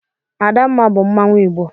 Adamma bu Mmanwu igbo.